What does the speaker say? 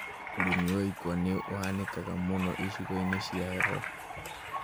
ũrĩmi wa ikwa nĩ ũhanĩkaga mũno icigo-inĩ cia heho